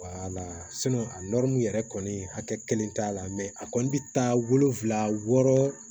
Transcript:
a yɛrɛ kɔni hakɛ kelen t'a la a kɔni bi taa wolonfila wɔɔrɔ